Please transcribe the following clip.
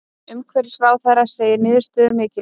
Umhverfisráðherra segir niðurstöðuna mikilvæga